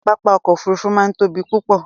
papá ọ̀kọ̀ ofúrúfú máa ń tóbi púpọ̀